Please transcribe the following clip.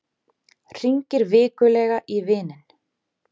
Hringir vikulega í vininn